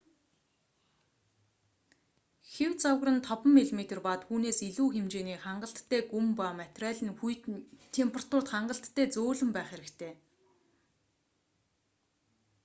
хэв загвар нь 5 мм 1/5 инч ба түүнээс илүү хэмжээний хангалттай гүн ба материал нь хүйтэн температурт хангалттай зөөлөн байх хэрэгтэй